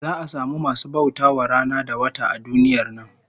Za'a samu masu bauta wa rana da wata a duniyar nan